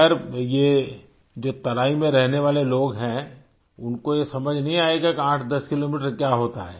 खैर ये जो तराईं में रहने वाले लोग हैं उनको ये समझ नहीं आयेगा 810 किलोमीटर क्या होता है